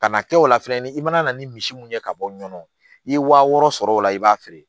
Ka na kɛ o la fɛnɛ ni i mana na ni misi mun ye ka bɔ ɲɔɔn i ye wa wɔɔrɔ sɔrɔ o la i b'a feere